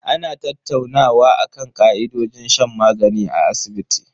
Ana tattaunawa akan ka'idojin shan magani a asibiti.